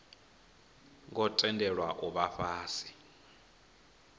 ngo tendelwa u vha fhasi